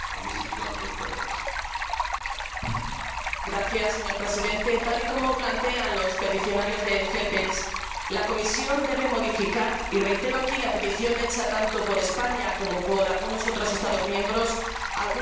Señor Presidente, tal y como plantean los peticionarios de FEPEX, la Comisión debe modificar y reitero aquí la petición hecha tanto por España como por algunos otros Estados miembros algunos artículos del Reglamento al que estamos haciendo referencia.